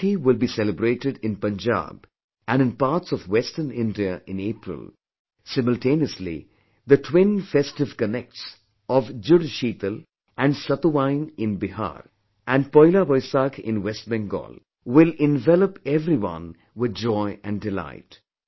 Vaisakhi will be celebrated in Punjab and in parts of western India in April; simultaneously, the twin festive connects of Jud Sheetal and Satuwain in Bihar, and Poila Vaisakh in West Bengal will envelop everyone with joy and delight